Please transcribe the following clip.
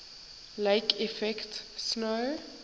lake effect snow